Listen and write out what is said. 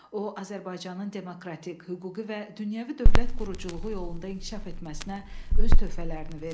O, Azərbaycanın demokratik, hüquqi və dünyəvi dövlət quruculuğu yolunda inkişaf etməsinə öz töhfələrini verib.